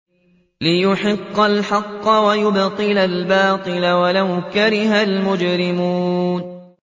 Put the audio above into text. لِيُحِقَّ الْحَقَّ وَيُبْطِلَ الْبَاطِلَ وَلَوْ كَرِهَ الْمُجْرِمُونَ